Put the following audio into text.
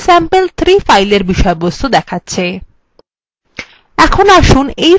এটি sample3 ফাইলের বিষয়বস্তু